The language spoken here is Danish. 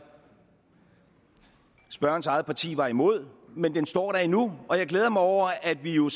spørgerens eget parti var imod men den står der endnu og jeg glæder mig over at vi jo i